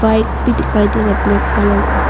Gate भी दिखाई दे रहा है ब्लैक कलर का।